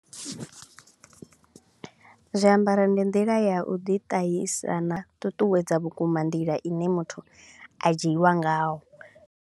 Zwiambaro ndi nḓila ya u ḓi ṱahisa na u ṱuṱuwedza vhukuma nḓila i ne muthu a dzhiiwa ngaho.